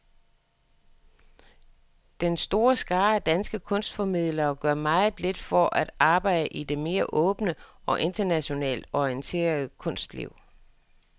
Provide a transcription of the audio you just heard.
Den store skare af danske kunstformidlere gør meget lidt for at arbejde i det mere åbne og internationalt orienterede kunstliv.